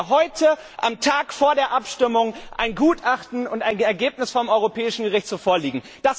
Dann hätten wir heute, am Tag vor der Abstimmung, ein Gutachten und ein Ergebnis vom Europäischen Gerichtshof vorliegen.